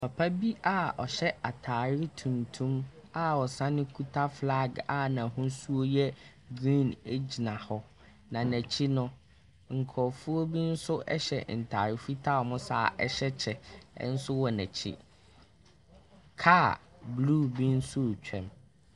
Papa bi a ɔhyɛ atare tuntum a ɔsan kita filag a n'ahosuo no yɛ griin egyina hɔ. Na n'akyi no, nkorɔfoɔ bi nso ɛhyɛ ntaare fitaa a ɔmo hyɛ kyɛ nso wɔ n'akyi. Kaa blu bi nso twam.